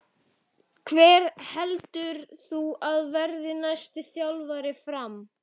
Hver heldur þú að verði næsti þjálfari FRAM?